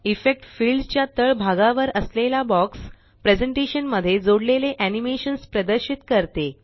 effect field च्या तळ भागावर असलेला बॉक्स प्रेज़ेंटेशन मध्ये जोडलेले एनीमेशन्स प्रदर्शित करते